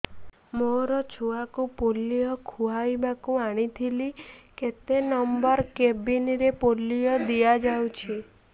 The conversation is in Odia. ମୋର ଛୁଆକୁ ପୋଲିଓ ଖୁଆଇବାକୁ ଆଣିଥିଲି କେତେ ନମ୍ବର କେବିନ ରେ ପୋଲିଓ ଦିଆଯାଉଛି